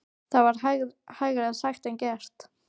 Það er hægara sagt en gert.